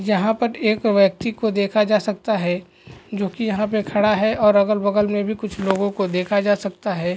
यहां पर एक व्यक्ति को देखा जा सकता है जो कि यहाँ पर खड़ा है और अगल-बगल में भी कुछ लोगों को देखा जा सकता हैं।